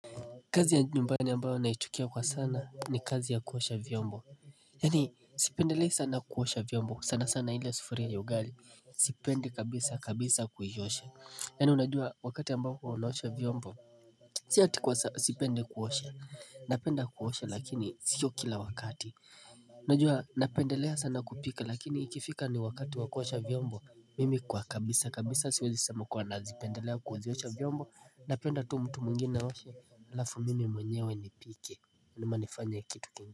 Kazi ya nyumbani ambayo naichukia kwa sana ni kazi ya kuosha vyombo Yani sipendelei sana kuosha vyombo sana sana ile sufuria ya ugali Sipendi kabisa kabisa kuiosha Yani unajua wakati ambapo unaosha vyombo Si atikwa sipendi kuosha Napenda kuosha lakini sio kila wakati Najua napendelea sana kupika lakini ikifika ni wakati wakuosha vyombo Mimi kwa kabisa kabisa siwezi sema kuwa nazipendelea kuziwosha vyombo na penda tu mtu mwinginege na washi alafu mimi mwenyewe ni pike ni manifanya ya kitu kingi.